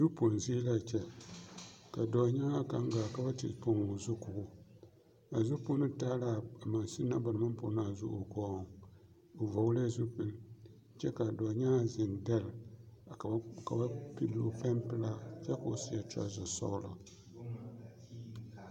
Zupoŋ zie la a kyɛ ka dɔɔnyaŋaa kaŋ gaa ka ba te poŋ o zu ko o a zupono taa la a mansunne na ba naŋ maŋ poŋ a zu o poɔŋ o vɔgle la zupili kyɛ ka a dɔɔnyaŋaa zeŋ dɛlle ka ba ka ba pilli o pɛnpelaa kyɛ ka o seɛ trouser sɔglɔ.